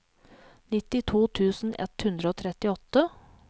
nittito tusen ett hundre og trettiåtte